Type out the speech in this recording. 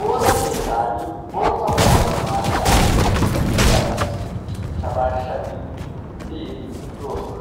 Woossa keettan bootta maayuwaa maayida asay kushshiyaa baaqqidi shabaashabiidi iliilidi doosona.